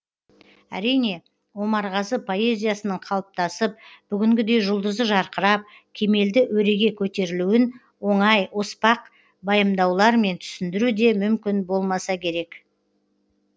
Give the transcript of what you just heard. әрине омарғазы поэзиясының қалыптасып бүгінгідей жұлдызы жарқырап кемелді өреге көтерілуін оңай оспақ байымдаулармен түсіндіру де мүмкін болмаса керек